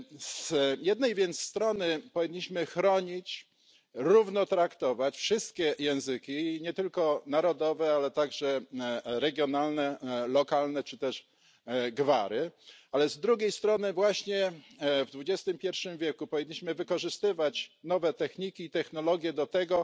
Z jednej więc strony powinniśmy chronić, równo traktować wszystkie języki, nie tylko narodowe, ale także regionalne, lokalne czy też gwary, ale z drugiej strony właśnie w XXI wieku powinniśmy wykorzystywać nowe techniki i technologie do tego,